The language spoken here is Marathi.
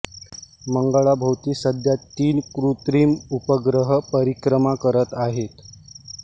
मंगळाभोवती सध्या तीन कृत्रिम उपग्रह परिक्रमा करत आहेत